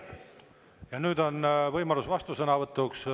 Ja nüüd on võimalus vastusõnavõtuks.